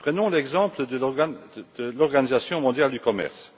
Prenons l'exemple de l'Organisation mondiale du commerce.